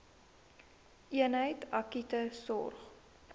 eenheid akute sorg